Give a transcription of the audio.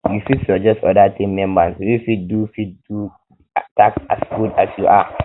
you fit suggest oda team members wey fit do wey fit do di task as good um as you are